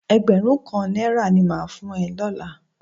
Ẹgbẹrun kan náírà ní mà á fún ẹ lọ́la